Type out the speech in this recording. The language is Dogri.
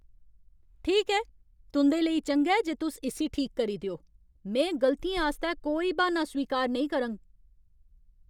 ठीक ऐ, तुं'दे लेई चंगा ऐ जे तुस इस्सी ठीक करी देओ। में गलतियें आस्तै कोई ब्हान्ना स्वीकार नेईं करङ।